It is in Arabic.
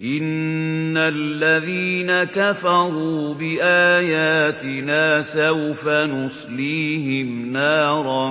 إِنَّ الَّذِينَ كَفَرُوا بِآيَاتِنَا سَوْفَ نُصْلِيهِمْ نَارًا